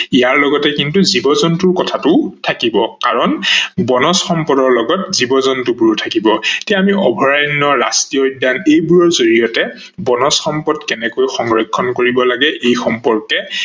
ইয়াৰ লগতে কিন্তু জীৱ-জন্তুৰ কথাও থাকিব কাৰন বনজ সম্পদ লগত জীৱ-জন্তুবোৰো থাকিব কিয়নো আমি অভয়াৰন্য, ৰাষ্ট্ৰীয় উদ্যান এইবোৰৰ জৰিয়তে বনজ সম্পদ কেনেকৈ সংৰক্ষন কৰিব লাগে এই সম্পৰ্কে